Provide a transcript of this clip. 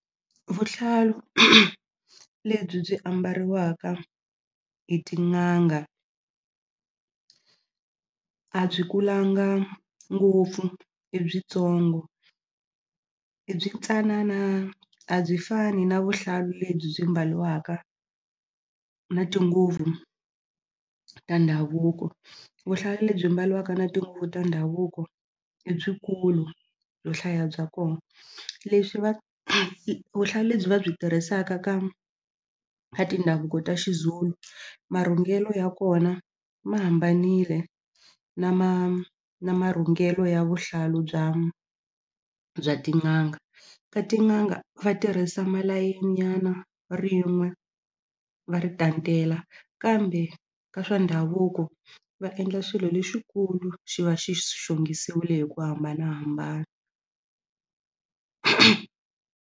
Vuhlalu lebyi byi ambariwaka hi tin'anga a byi kulanga ngopfu i byi tsongo i byi tsanana a byi fani na vuhlalu lebyi byi mbaliwaka na tinguvu ta ndhavuko vuhlalu lebyi mbaliwaka na tinguvu ta ndhavuko i byikulu byo hlaya bya ko leswi va vuhlalu lebyi va byi tirhisaka ka ka tindhavuko ta Xizulu marhungulelo ya kona ma hambanile na na marhunghelo ya vuhlalu bya bya tin'anga ka tin'anga va tirhisa malayeni nyana rin'we va ri kambe ka swa ndhavuko va endla swilo lexikulu xi va xi xongisiwile hi ku hambanahambana.